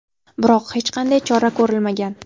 biroq hech qanday chora ko‘rilmagan.